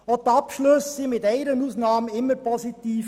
Die Abschlüsse waren abgesehen von einer Ausnahme immer positiv.